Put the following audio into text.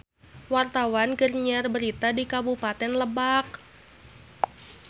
Wartawan keur nyiar berita di Kabupaten Lebak